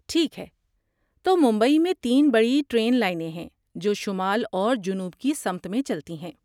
ٹھیک ہے، تو ممبئی میں تین بڑی ٹرین لائنیں ہیں جو شمال اور جنوب کی سمت میں چلتی ہیں۔